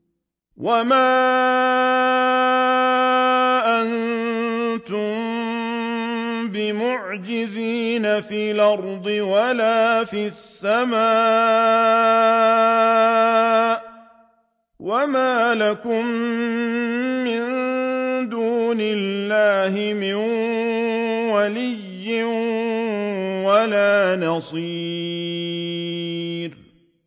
وَمَا أَنتُم بِمُعْجِزِينَ فِي الْأَرْضِ وَلَا فِي السَّمَاءِ ۖ وَمَا لَكُم مِّن دُونِ اللَّهِ مِن وَلِيٍّ وَلَا نَصِيرٍ